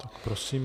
Tak prosím.